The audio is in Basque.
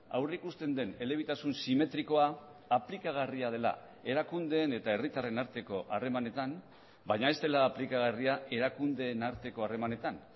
aurrikusten den elebitasun simetrikoa aplikagarria dela erakundeen eta herritarren arteko harremanetan baina ez dela aplikagarria erakundeen arteko harremanetan